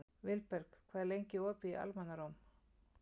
Vilberg, hvað er lengi opið í Almannaróm?